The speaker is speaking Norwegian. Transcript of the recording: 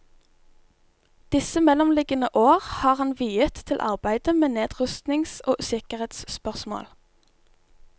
Disse mellomliggende år har han viet til arbeidet med nedrustnings og sikkerhetsspørsmål.